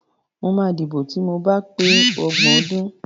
Mo máa dìbò ti mo ba pé ọgbọ̀n ọdún.